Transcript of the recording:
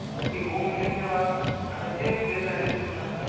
तर ती home visit जेंव्हा आता जे फेल झालेले स्टुडन्ट असतात.